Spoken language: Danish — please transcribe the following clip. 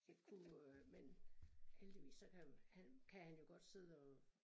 Det kunne øh men heldigvis så kan han kan han jo godt sidde og